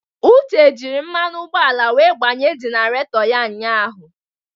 Uche jiri mmanụ ụgbọala wee gbanye jenerato ya ụnyahụ.